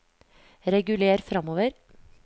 reguler framover